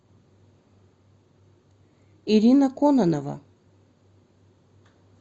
ирина кононова